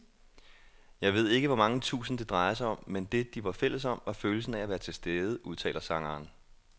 Jeg ved ikke hvor mange tusind, det drejede sig om, men det, de var fælles om, var følelsen af at være tilstede, udtaler sangeren.